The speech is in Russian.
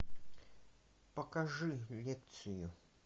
покажи лекцию